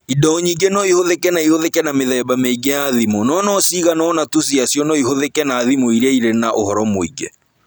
Indo nyingĩ no ihũthĩke na ihũthĩke na mĩthemba mĩingĩ ya thimũ, no no cigana ũna tu ciacio no ihũthĩke na thimũ iria irĩ na ũhoro mũingĩ.